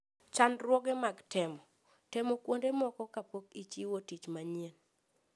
Chandruoge mag Temo: Temo kuonde moko kapok ichiwo tich moro manyien.